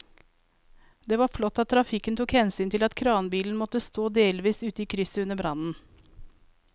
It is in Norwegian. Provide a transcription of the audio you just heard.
Det var flott at trafikken tok hensyn til at kranbilen måtte stå delvis ute i krysset under brannen.